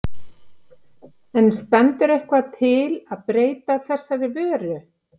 En stendur eitthvað til að breyta þessari vöru?